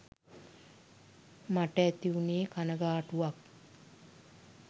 මට ඇති වුනේ කණගාටුවක්.